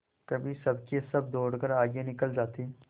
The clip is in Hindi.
कभी सबके सब दौड़कर आगे निकल जाते